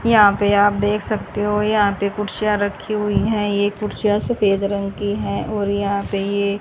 यहां पे आप देख सकते हो यहां पे कुर्सियां रखी हुई है ये कुर्सियां सफेद रंग की है और यहां पे ये--